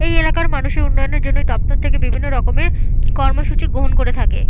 এই এলাকার মানুষের উন্নয়নের জন্য দপ্তর থেকে বিভিন্ন রকমের কর্মসূচি গ্রহণ করে থাকে।